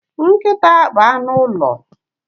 Nkịta bụ anụ ụlọ.